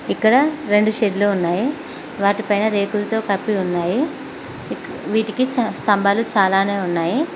ఇక్కడ రెండు షెడ్డులు ఉన్నాయి వాటి పైన రేకులతో కప్పి ఉన్నాయి ఇక్ వీటికి స్తంభాలు చాలానే ఉన్నాయి.